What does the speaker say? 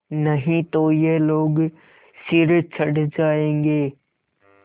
नहीं तो ये लोग सिर चढ़ जाऐंगे